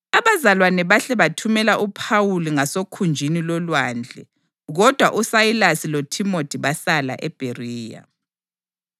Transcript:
Abazalwane bahle bathumela uPhawuli ngasokhunjini lolwandle, kodwa uSayilasi loThimothi basala eBheriya.